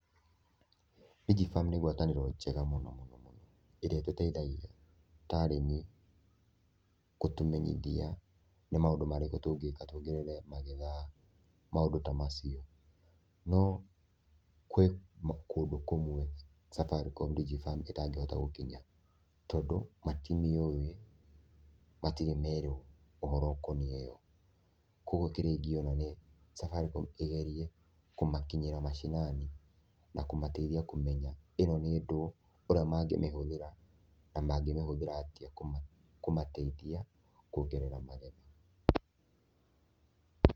DigiFarm nĩ gwatanĩro njega mũno mũno mũno ĩrĩa ĩtũteithagia ta arĩmi, gũtũmenyithia nĩ maũndũ marĩkũ tũngĩĩka tuongerere magetha, maũndũ ta macio. No gwĩ kũndũ kũmwe Safaricom DigiFarm ĩtangĩhota gũkinya tondũ matimĩũĩ, matirĩ merwo ũhoro ũkoniĩ yo. Kũoguo kĩrĩa ingĩona nĩ Safaricom ĩgerie kumakinyĩra macinani na kũmateithia kũmenya ĩno nĩ ndũ, ũrĩa mangĩmĩhũthĩra na mangĩmĩhũthĩra atĩa kũmateithia kuongerera magetha.